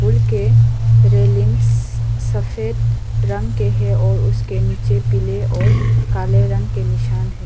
उपर के रेलिंग सस सफेद रंग के है और उसके नीचे पीले और काले रंग के निशान हैं।